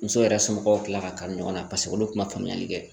Muso yɛrɛ somɔgɔw tilala ka kanu ɲɔgɔn na paseke olu tun ma faamuyali kɛ